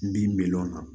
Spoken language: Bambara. N bin bɛlɔn na